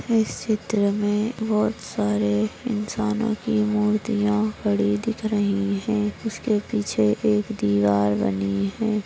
इस चित्र में बहुत सारे इंसानोकी मूर्तिया खड़ी दिख रही है उसके पीछे एक दीवार बनी है।